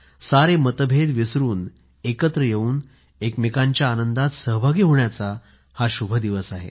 सारे मत भेद विसरून एकत्र येऊन एकमेकांच्या आनंदात सहभागी होण्याचा हा शुभ दिवस आहे